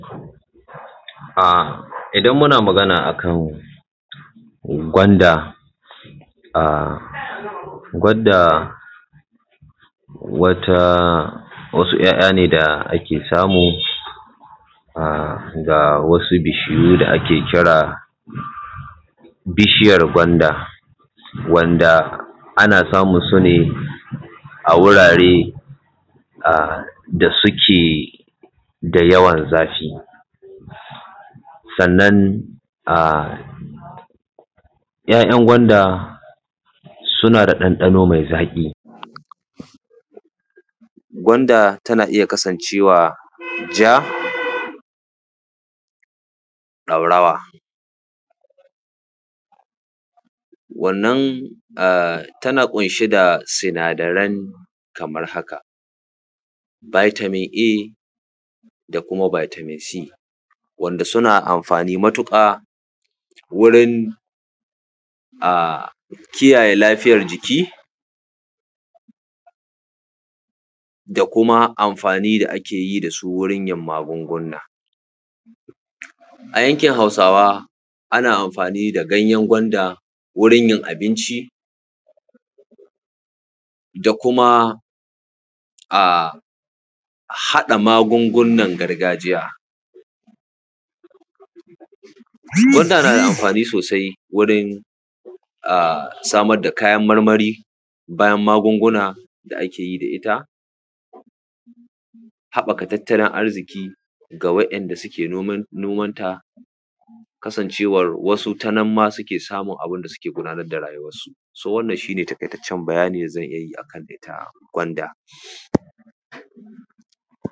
Idan muna magana a kan gwanda, gwanda wata, wasu ‘ya’yane da ake samu a ga wasu bishiyu da ake kira bishiyar gwanda, wanda ana samun su ne a wurare da suke da yawan zafi, sannan a ‘ya’yan gwanda suna da ɗanɗano mai zaƙi, gwanda tana iya kasancewa ja, ɗaurawa. Wannan a tana ƙunshe da sinadarai kamar haka vitamin A, da kuma vitamin C, wanda suna amfani matuƙa wurin kiyaye lafiyar jiki da kuma amfani da ake yi da su wurin yin maguguna. A yankin hausawa ana amfani da ganyan gwanda wurin yin abinci da kuma a haɗa magugunan gargajiya. Gwanda na da amfani sosai wurin samar da kayan marmari bayan magugunan da ake yi da ita, haɓɓaka tatalin arziki ga wa'inda suke nomanta, kasancewa wasu tanan ma suke samun abin da suke gudanar da rayuwansu. Wannan shi ne taƙaitaccen bayanin da zan iya a kan gwanda.